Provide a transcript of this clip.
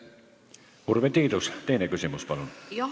Urve Tiidus, teine küsimus, palun!